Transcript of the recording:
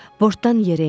Bortdan yerə endik.